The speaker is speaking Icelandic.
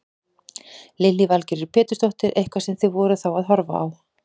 Lillý Valgerður Pétursdóttir: Eitthvað sem þið voruð þá að horfa á?